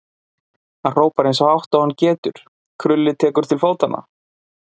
Hann hrópar eins hátt og hann getur, Krulli tekur til fótanna.